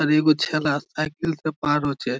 আর এগো ছেলা সাইকেল -টা পার হচ্ছে।